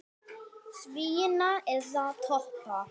Svína eða toppa?